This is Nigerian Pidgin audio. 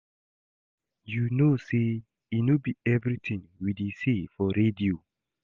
You know say e no be everything we dey say for radio